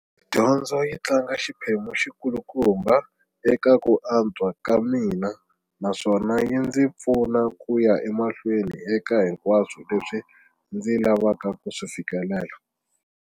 Dyondzo yi tlanga xiphemu xikulukumba eka ku antswa ka mina na swona yi ndzi pfuna ku ya emahlweni eka hinkwaswo leswi ndzi lavaka ku swi fikelela.